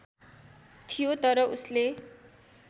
थियो तर उसले